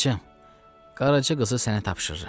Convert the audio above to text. Bacım, qaraçı qızı sənə tapşırıram.